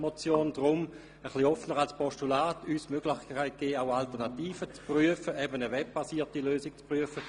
Deshalb gäbe uns die etwas offenere Form des Postulats die Möglichkeit, auch Alternativen wie etwa eine webbasierte Lösung zu prüfen.